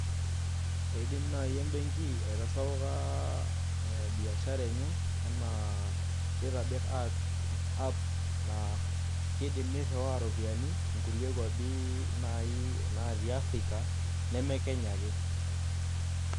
Eidim naai embenki aitasapuka biashara enye enaa pee itobirr app naa kiidim nirriwaa iropiyiani kulie kuapi naai naatii Africa neme Kenya ake.